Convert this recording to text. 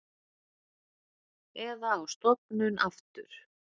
Eða á stofnun aftur.